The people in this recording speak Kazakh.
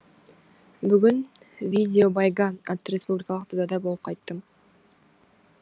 бүгін видео байга атты республикалық додада болып қайттым